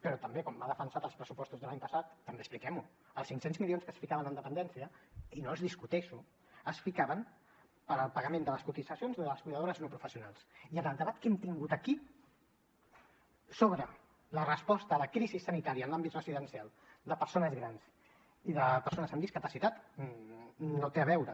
però també quan m’ha defensat els pressupostos de l’any passat també expliquem ho els cinc cents milions que es ficaven en dependència i no els discuteixo es ficaven per al pagament de les cotitzacions de les cuidadores no professionals i en el debat que hem tingut aquí sobre la resposta a la crisi sanitària en l’àmbit residencial de persones grans i de persones amb discapacitat no hi té a veure